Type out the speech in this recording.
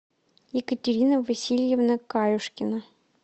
екатерина васильевна каюшкина